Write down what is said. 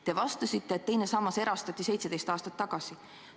Te vastasite, et teise samba raha erastati 17 aastat tagasi.